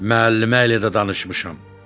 Müəllimə elə də danışmışam.